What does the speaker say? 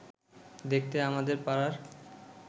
দেখতে আমাদের পাড়ার